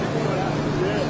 Min doqquz yüz.